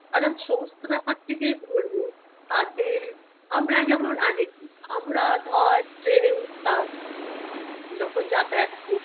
আর আমি সমস্ত ব্যাপারটিতেই বলবো তাদের আমরা যেমন আগে কি আমরা ধর train -এ উঠতাম যখন যাতায়াত কর~